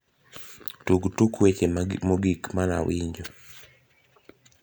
tug tuk weche mogik manawinjo